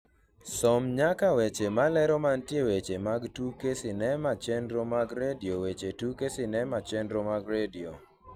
som nyaka weche malero mantie weche mag tuke sinema chenro mag redio weche tuke sinema chenro mag redio